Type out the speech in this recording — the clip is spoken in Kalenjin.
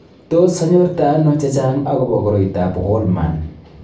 Tos Anyorte Ano Chechang' akobo Koriotoab Wolman?